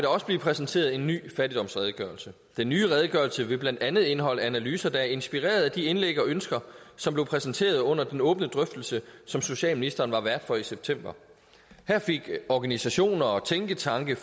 også blev præsenteret en ny fattigdomsredegørelse den nye redegørelse vil blandt andet indeholde analyser der er inspireret af de indlæg og ønsker som blev præsenteret under den åbne drøftelse som socialministeren var vært for i september her fik organisationer tænketanke